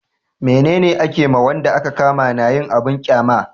mene ne a ke ma wanda a ka kama na yin abun ƙyama?